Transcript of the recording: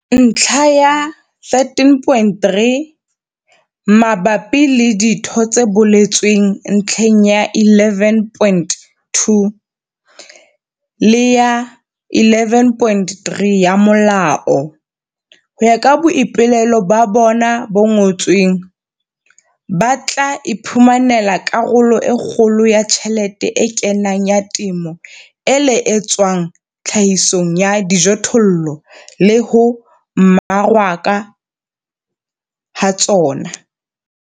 Ntlha ya 13.3, mabapi le ditho tse boletsweng ntlheng ya 11.2 le ya 11.3 ya molao, ho ya ka boipolelo ba bona bo ngotsweng, ba tla iphumanela karolo e kgolo ya tjhelete e kenang ya temo e le e tswang tlhahisong ya dijothollo le ho mmarakwa ha tsona.